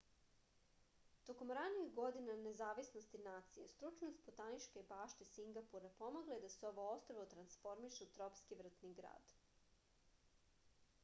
tokom ranih godina nezavisnosti nacije stručnost botaničke bašte singapura pomogla je da se ovo ostrvo transformiše u tropski vrtni grad